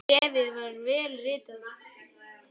Bréfið var vel ritað.